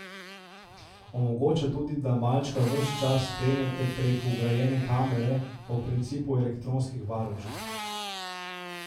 Omogoča tudi, da malčka ves čas spremljate prek vgrajene kamere, po principu elektronskih varušk.